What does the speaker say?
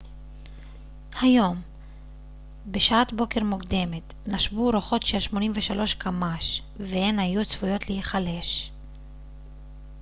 היום בשעת בוקר מוקדמת נשבו רוחות של כ-83 קמ ש והן היו צפויות להיחלש